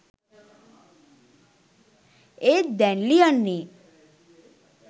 ඒත් දැන් ලියන්නේ